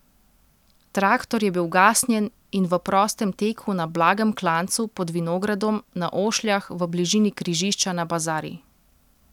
Traktor je bil ugasnjen in v prostem teku na blagem klancu pod vinogradom na Ošljah v bližini križišča na Bazari.